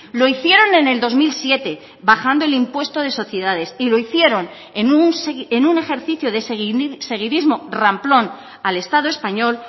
lo hicieron en el dos mil siete bajando el impuesto de sociedades y lo hicieron en un ejercicio de seguidismo ramplón al estado español